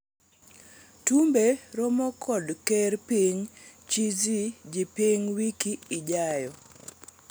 Tumbe romo kod ker piny Chi Xi Jinping wiki ijayo